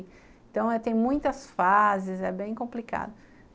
Então, tem muitas fases, é bem complicado.